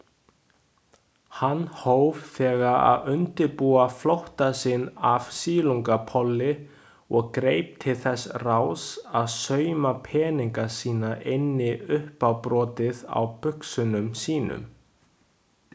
Hann hóf þegar að undirbúa flótta sinn af Silungapolli og greip til þess ráðs að sauma peninga sína inn í uppábrotið á buxunum sínum.